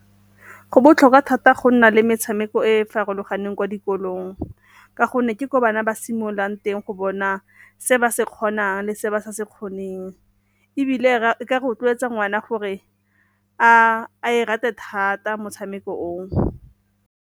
Go botlhokwa thata go nna le metshameko e e farologaneng kwa dikolong ka gonne ke gore bana ba simololang teng go bona se ba se kgonang le se ba se se kgoneng, ebile e ka rotloetsa ngwana gore a e rate thata motshameko oo.